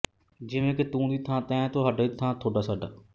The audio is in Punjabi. ਜਿਵੇਂ ਕਿ ਤੂੰ ਦੀ ਥਾਂ ਤੈਂ ਤੁਹਾਡਾ ਦੀ ਥਾਂ ਠੋਡਾਸੋਡਾ